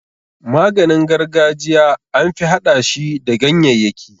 Maganin gargajiya anfi hada shi da gyanyayyaki.